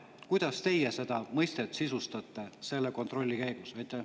Kuidas teie seda mõistet sisustate selle kontrolli valguses?